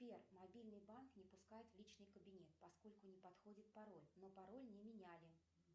сбер мобильный банк не пускает в личный кабинет поскольку не подходит пароль но пароль не меняли